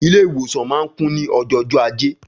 Ilé ìwòsan ma ń kún ní ojó jọ ajé